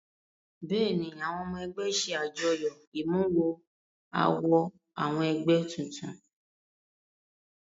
Bẹ́ẹ̀ ni àwọn ọmọ ẹgbẹ́ ṣe àjọyọ̀ ìmúmọ-awọ àwọn ẹgbẹ́ tuntun.